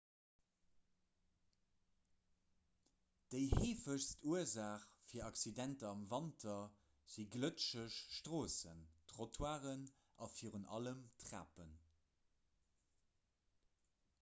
déi heefegst ursaach fir accidenter am wanter si glëtscheg stroossen trottoiren a virun allem trapen